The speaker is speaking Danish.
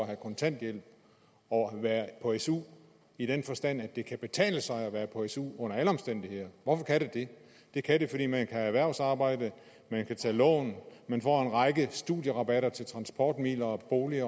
kontanthjælp og være på su i den forstand at det kan betale sig at være på su under alle omstændigheder hvorfor kan det det det kan det fordi man kan have erhvervsarbejde man kan tage lån man får en række studierabatter til transportmidler og bolig